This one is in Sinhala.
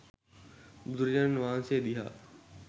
බුදුරජාණන් වහන්සේ දිහා